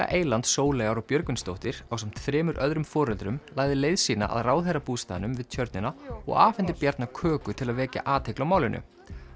eyland Sóleyjar og Björgvinsdóttir ásamt þremur öðrum foreldrum lagði leið sína að ráðherrabústaðnum við tjörnina og afhenti Bjarna köku til að vekja athygli á málinu